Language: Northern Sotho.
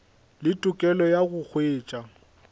le tokelo ya go hwetša